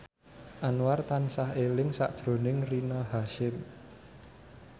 Anwar tansah eling sakjroning Rina Hasyim